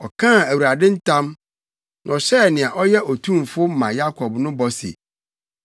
Ɔkaa Awurade ntam, na ɔhyɛɛ nea ɔyɛ Otumfo ma Yakob no bɔ se,